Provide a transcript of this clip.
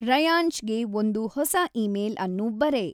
ರಯಾನ್ಷ್‌ಗೆ ಒಂದು ಹೊಸ ಇಮೇಲ್ ಅನ್ನು ಬರೆ